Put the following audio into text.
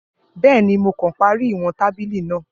Bẹẹni, Mo kan pari iwọn tabili naa